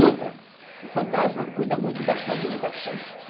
Outra, o fantasma cuida muito da sua alimentação.